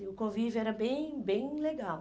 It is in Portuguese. e o convívio era bem bem legal.